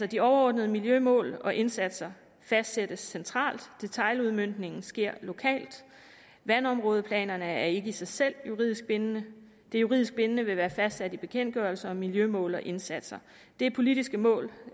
de overordnede miljømål og indsatser fastsættes altså centralt detailudmøntningen sker lokalt vandområdeplanerne er ikke i sig selv juridisk bindende det juridisk bindende vil være fastsat i bekendtgørelser og miljømål og indsatser det er politiske mål